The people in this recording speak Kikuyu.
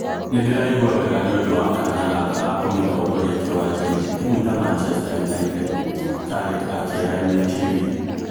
"Nindiraigwa wega nĩũndũ wa kanya gaka ga kumitongoria kiwanja-ini timu ta Manchester United", Carrick akiira MUTV.